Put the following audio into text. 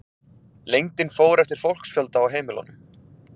Lengdin fór eftir fólksfjölda á heimilunum.